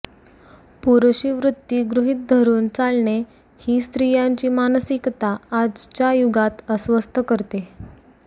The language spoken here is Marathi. पुरुषी वृत्ती गृहीत धरून चालणे ही स्त्रीयांची मानसिकता आजच्या युगात अस्वस्थ करते